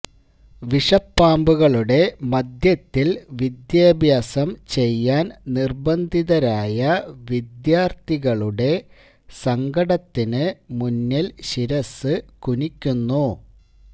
വിഷപ്പാമ്പുകളുടെ മധ്യത്തിൽ വിദ്യാഭ്യാസം ചെയ്യാൻ നിർബന്ധിതരായ വിദ്യാർഥികളുടെ സങ്കടത്തിന് മുന്നിൽ ശിരസ്സ് കുനിക്കുന്നു